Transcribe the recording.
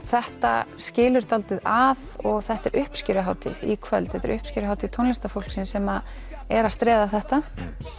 þetta skilur dálítið að og þetta er uppskeruhátíð í kvöld þetta er uppskeruhátíð tónlistarfólks sem er að streða þetta